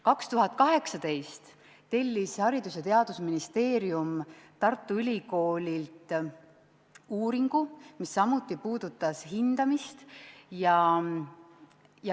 2018. aastal tellis Haridus- ja Teadusministeerium Tartu Ülikoolilt uuringu, mis samuti puudutas hindamist.